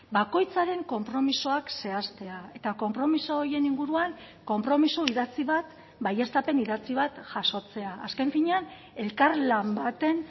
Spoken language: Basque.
bakoitzaren konpromisoak zehaztea eta konpromiso horien inguruan konpromiso idatzi bat baieztapen idatzi bat jasotzea azken finean elkarlan baten